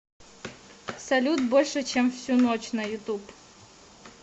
салют больше чем всю ночь на ютуб